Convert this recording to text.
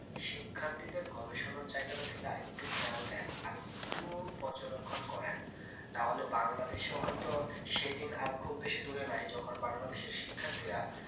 শিক্ষার্থীদের গবেষণার জায়গাটা থেকে আরেক টুকু খেয়াল দেন আরেক টুকু পর্যবেক্ষণ করেন তাহলে বাংলাদেশেও হইত সেদিন আর খুব বেশি দূরে নাই যখন বাংলাদেশের শিক্ষার্থীরা